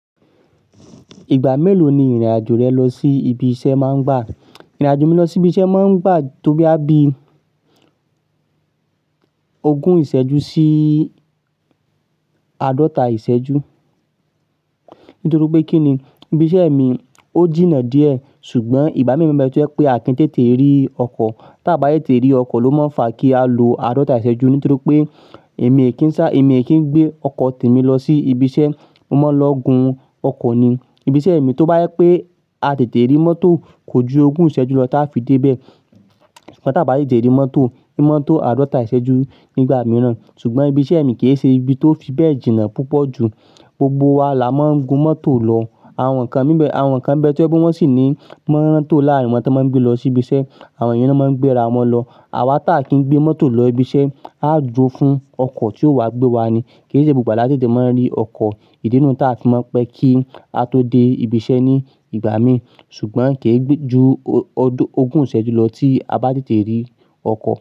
Ìgbà mélòó ni ìrìn-àjò rẹ lọ sí ibi iṣẹ́ máa ń gbà? Ìrìn-àjò mi lọ sí ibi iṣẹ́ máa ń gbà tó bí á bí ogún ìṣẹ́jú sí àádọ́ta ìṣẹ́jú. Nítorí pé kí ni, ibi iṣẹ́ mi ó jìnnà díẹ̀ ṣùgbọ́n ìgbà mí mọ̀ọ́ bẹ ti ọ́ pé Akin tètè rí ọkọ̀. Tí a bá tètè rí ọkọ̀ ló máa ń fa kí a lo àádọ́ta ìṣẹ́jú nítorí pé èmi è kí ń sá, èmi è kí ń gbé ọkọ̀ tèmi lọ sí ibi iṣẹ́, mo máa ń lọ gun ọkọ̀ ni. Ibi iṣẹ́ mi tó bá yẹ pé a tètè rí mọ́tò kò ju ogún ìṣẹ́jú lọ tí a fi dé bẹ́ẹ̀. Ṣùgbọ́n tí a bá yé tètè rí mọ́tò, ni mọ́tò àádọ́ta ìṣẹ́jú nígbà mìíràn. Ṣùgbọ́n ibi iṣẹ́ mi kì í ṣe ibi tó fi bẹ́ẹ̀ jìnnà púpọ̀ ju. Gbogbo wa la máa ń gun mọ́tò lọ. Àwọn kan níbẹ̀, àwọn kan bẹ ti ọ́ pé wọ́n sì ní mọ́tò láàárin wọn tí wọ́n máa ń gbé lọ sí ibi iṣẹ́. Àwọn yen náà máa ń gbé ra wọn lọ. Àwa tí à kín gbé mọ́tò lọ ibi iṣẹ́, a duro fún ọkọ̀ tí yóò wá gbé wa ni. Kì í ṣe gbogbogba la tètè máa ń rí ọkọ̀. Ìdinu taa fi mọ̀ n pé kí á tó dé ibi iṣẹ́ ní ìgbà mi ṣùgbọ́n kì í gbé ju o-ọdọ-- ogún ìṣẹ́jú lọ tí a bá tètè rí ọkọ̀